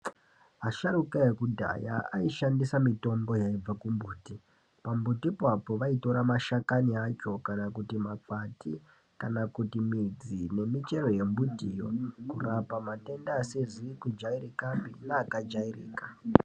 Asharuka ekudhaya aishandisa mitombo yaibva kumbuti. Pambuti ipapo vaitora mashakani acho kana kuti makwati kana kuti midzi nemichero yembutiyo kurapa matenda asizi kujairikapi neakajairika.